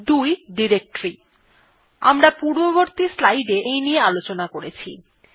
২ directory আমরা পূর্ববর্তী স্লাইডে এই নিয়ে আলোচনা করেছি